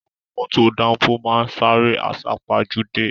Àwọn mọ́tò dánfó máá ń sáré àsápajúdé